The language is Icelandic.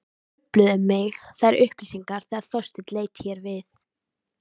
Trufluðu mig þær upplýsingar þegar Þorsteinn leit hér við.